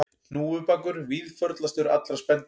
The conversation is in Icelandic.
Hnúfubakur víðförlastur allra spendýra